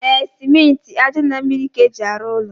E, simenti, aja na mmiri ka eji aru ụlọ.